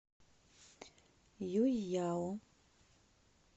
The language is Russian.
юйяо